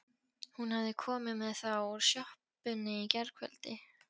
Hún hafði komið með þá úr sjoppunni í gærkveldi.